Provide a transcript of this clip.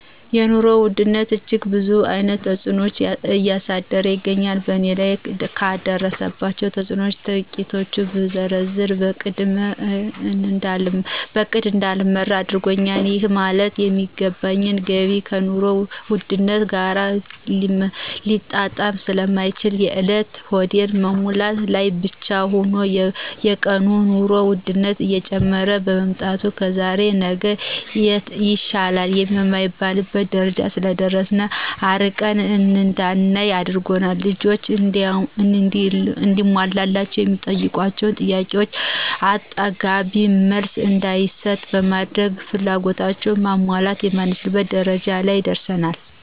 የኑሮ ውድነት እጅግ ብዙ አይነት ተጽኖዎችን እያደረሰ ይገኛል በእኔ ላይ ካደረሳቸው ተጽኖዎች ትቂቱን ብዘረዝር በእቅድ እዳልመራ አድርጎኛል ይህ ማለት የማገኘው ገቢ ከኑሮ ውድነት ጋር ሊጣጣም ስለማይችል የእለት ሆድን መሙላት ላይ ብቻ ሁኖል። በየቀኑ የኑሮ ወድነት እየጨመረ በመምጣቱ ከዛሬ ነገ ይሻላል የማይባልበት ደረጃ ስለደረሰ አርቀን እዳናይ አድርጓል። ልጆች እንዲሟላላቸው የሚጠይቋቸውን ጥያቄዎቾ አጥጋቢ መልስ እዳንሰጥ በማድረግ ፍላጎታቸውን ማሟላት የማንችልበት ደረጃ ላይ ደርሰናል።